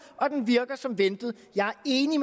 og den virker som ventet jeg er enig